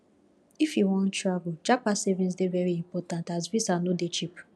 if you wan travel japa saving dey very important as visa no dey cheap